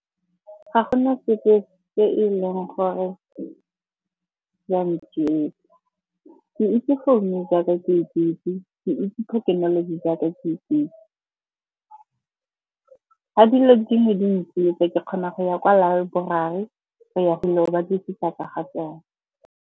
Ga gona sepe se e leng gore sa ntsietsa. Ke itse founo jaaka ke ikitse, ke itse thekenoloji jaaka ke ikitse. Ga dilo dingwe di ntsietsa ke kgona go ya kwa laeborari go ya gwile go batlisisa ka ga tsone.